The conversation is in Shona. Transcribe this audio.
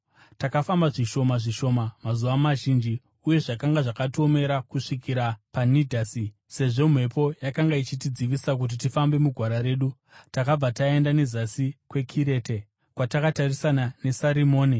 Takafamba zvishoma zvishoma mazuva mazhinji uye zvakanga zvakatiomera kusvikira paNidhasi. Sezvo mhepo yakanga ichitidzivisa kuti tifambe mugwara redu, takabva taenda nezasi kweKirete, kwakatarisana neSarimone.